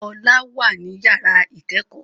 Ọlá wà ní yàrá ìkẹ́kọ̀ọ́